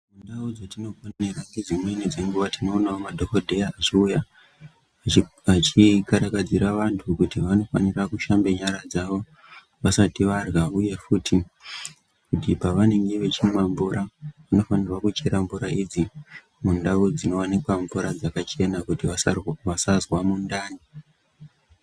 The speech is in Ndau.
Ndau dzatinoponera ngedzimweni dzenguwa tinoonawo madhokodheya achiuya achikarakadzira anhu kuti vanofanire kushambe nyara dzawo vasati varya uyefuti pavanenge vachimwa mvura vanofanira kuchera mvura idzi mundau dzinoonekwa mvura dzakachena kuti vasazwa mudhani.